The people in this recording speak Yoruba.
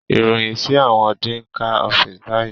Iroyin si awọn dean ká ọfiisi bayi